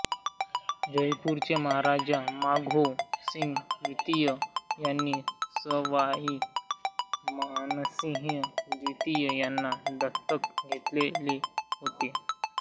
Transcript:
जयपूरचे महाराजा माधो सिंह द्वितीय यांनी सवाई मानसिंह द्वितीय यांना दत्तक घेतेले होते